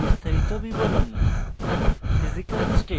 elemental windows বিস্তারিত বিবরণ